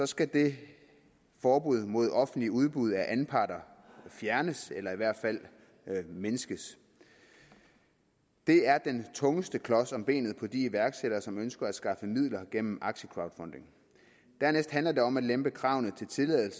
skal det forbud mod offentligt udbud af anparter fjernes eller i hvert fald mindskes det er den tungeste klods om benet på de iværksættere som ønsker at skaffe midler gennem aktiecrowdfunding dernæst handler det om at lempe kravene til at